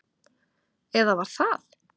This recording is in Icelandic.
Eða var það?